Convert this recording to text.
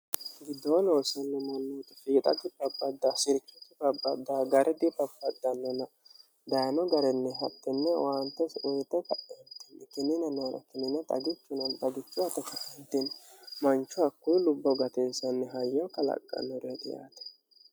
giddoo nooselnomommo fiixgi had sirkiti ahada garidi bapaannina dayino garinni haxtinne owaantosi uyito ka'entiikinnina noor kinin xagiino agicho ao ktini manchu hakku lubbo gatinsammi hayyo kalaqqanno yaate